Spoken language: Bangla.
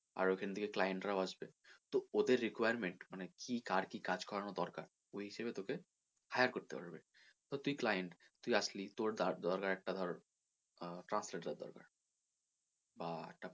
আর ওখান থেকে client রাও আসবে তো ওদের requirement মানে কি কার কি কাজ করানো দরকার ওই হিসেবে তোকে hire করতে পারবে তো তুই client তুই আসলি তোর ধর তোর একটা তোর আহ translator দরকার বা একটা,